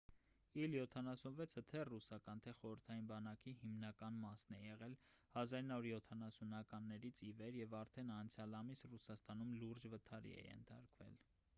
իլ 76-ը թե ռուսական թե խորհրդային բանակի հիմնական մասն է եղել 1970-ականներից ի վեր և արդեն անցյալ ամիս ռուսաստանում լուրջ վթարի է ենթարկվել